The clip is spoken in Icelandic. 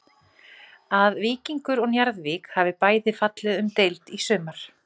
Að Víkingur og Njarðvík hafi bæði fallið um deild í sumar.